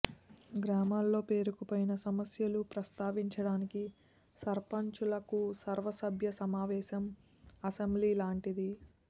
గ్రామాల్లో పేరుకుపోయిన సమస్యలు ప్రస్తావించడానికి సర్పంచ్లకు సర్వసభ్య సమావేశం ఆసెంబ్లీ లాంటిది